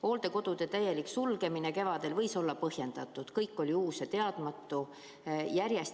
Hooldekodude täielik sulgemine kevadel võis olla põhjendatud – kõik oli uus ja teadmatu.